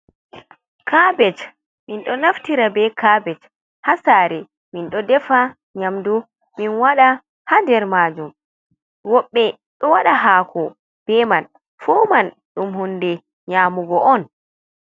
Kabej. Min ɗo naftira be kabej haa saare, min ɗo defa nyamdu min waɗa haa nder maajum. Woɓɓe ɗo waɗa haako be man, fu man ɗum hunde nyaamugo on.